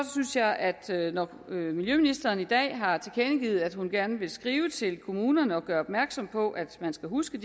synes jeg at når miljøministeren i dag har tilkendegivet at hun gerne vil skrive til kommunerne og gøre opmærksom på at man skal huske